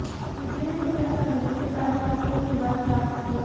video ने हिंसक सामग्री के कारण महत्वपूर्ण विवाद प्राप्त किया